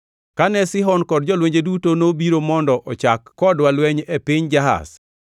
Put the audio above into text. Kane Sihon kod jolwenje duto nobiro mondo ochak kodwa lweny e piny Jahaz,